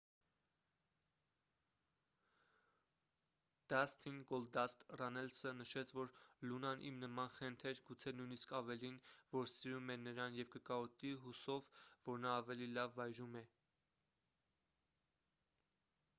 դասթին գոլդասթ ռաննելսը նշեց որ լունան իմ նման խենթ էր գուցե նույնիսկ ավելին որ սիրում է նրան և կկարոտի հուսով որ նա ավելի լավ վայրում է